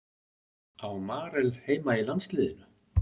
Á Marel heima í landsliðinu?